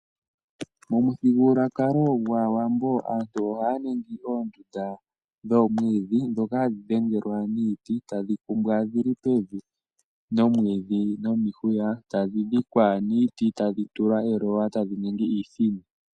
Momuthigululwakalo gwAawambo aantu ohaya ningi oondunda dhoomwiidhi ndhoka hadhi pangelwa niiti tadhi kumbwa dhi li pevi nomwiidhi nomihuya. Tadhi dhikwa niiti, tadhi tulwa eloys tadhi ningi iithini.